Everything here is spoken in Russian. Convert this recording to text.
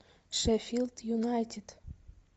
шеффилд юнайтед